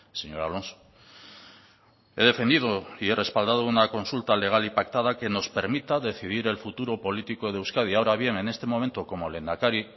señor alonso he defendido y he respaldado una consulta legal y pactada que nos permita decidir el futuro político de euskadi ahora bien en este momento como lehendakari